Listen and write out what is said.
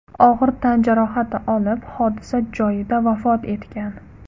og‘ir tan jarohati olib, hodisa joyida vafot etgan.